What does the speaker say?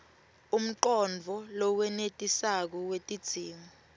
umcondvo lowenetisako wetidzingo